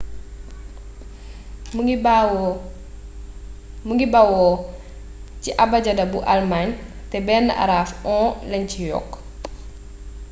mu ngi bawoo ci abajada bu almaañ te benn araf õ/õ lañ ci yokk